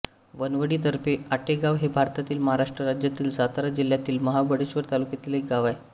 वनवळी तर्फे आटेगाव हे भारतातील महाराष्ट्र राज्यातील सातारा जिल्ह्यातील महाबळेश्वर तालुक्यातील एक गाव आहे